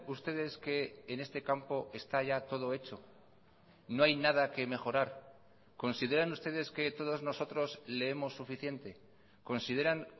ustedes que en este campo está ya todo hecho no hay nada que mejorar consideran ustedes que todos nosotros leemos suficiente consideran